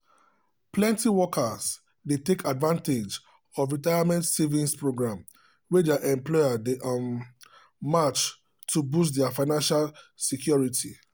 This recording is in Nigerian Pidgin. plenty workers dey take advantage of retirement savings program wey their employer dey um match to boost their financial security.